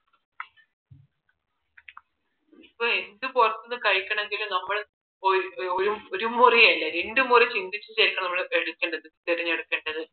ഇതിപ്പോ എന്ത് പുറത്ത് നിന്ന് കഴിക്കണമെങ്കിൽ നമ്മൾ ഒരു മുറിയല്ല രണ്ട് മുറി ചിന്തിച്ചിട്ട് ആയിരിക്കണം നമ്മൾ എടുക്കേണ്ടത് തിരഞ്ഞ് എടുക്കണ്ടത്